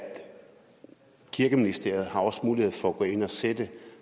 kirkeministeriet også har mulighed for at gå ind og sætte